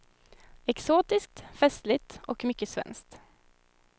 Exotiskt, festligt och mycket svenskt.